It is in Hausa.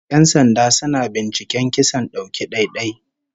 Yan sanda suna binciken kisan dauki ɗai-ɗai